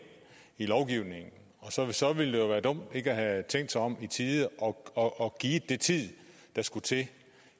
i lovgivningen og så så ville det være dumt ikke at have tænkt sig om i tide og og givet den tid der skulle til